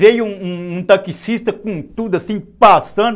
Veio um taxista com tudo, assim, passando.